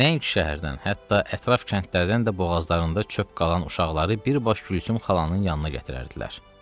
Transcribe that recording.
Nəinki şəhərdən, hətta ətraf kəndlərdən də boğazlarında çöp qalan uşaqları birbaş Gülsüm xalanın yanına gətirərdilər.